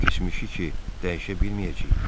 Keçmişi ki dəyişə bilməyəcəyik.